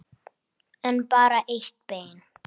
En bara eitt bein.